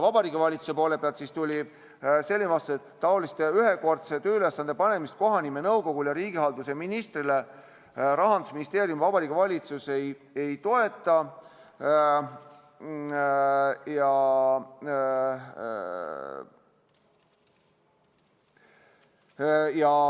Vabariigi Valitsuse poole pealt tuli selline vastus, et taolist ühekordse tööülesande panemist kohanimenõukogule ja riigihalduse ministrile Rahandusministeerium ja Vabariigi Valitsus ei toeta.